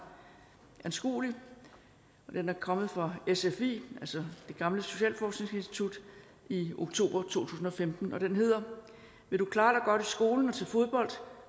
anskuelig og den er kommet fra sfi altså det gamle socialforskningsinstitut i oktober to tusind og femten og den hedder vil du klare dig godt i skolen og til fodbold